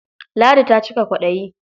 Ladi ta cika kwaɗayi.